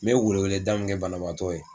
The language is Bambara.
Me weleweleda mun kɛ banabaatɔ ye